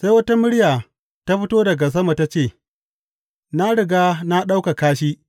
Sai wata murya ta fito daga sama ta ce, Na riga na ɗaukaka shi,